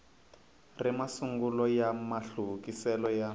ri masungulo ya mahluvukisele ya